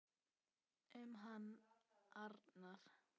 Um hann Arnar.